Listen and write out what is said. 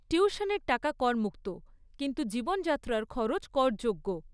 টিউশনের টাকা করমুক্ত, কিন্তু জীবনযাত্রার খরচ করযোগ্য।